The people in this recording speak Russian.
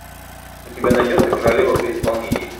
у тебя найдется королева при исполнении